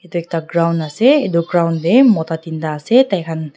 etu ekta ground ase etu ground te mota tinta ase tai khan--